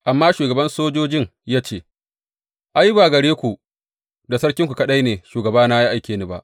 Amma shugaban sojojin ya ce, Ai, ba gare ku da sarkinku kaɗai ne shugabana ya aike ni ba.